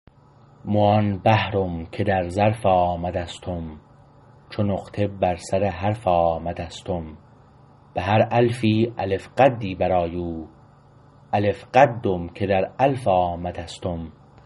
مو آن بحرم که در ظرف آمدستم چو نقطه بر سر حرف آمدستم به هر ألفی الف قدی برآیو الف قدم که در ألف آمدستم